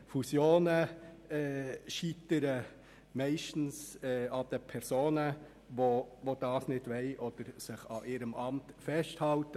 Fusionen scheitern meistens an den Personen, die solche nicht wollen, oder an ihrem Amt festhalten.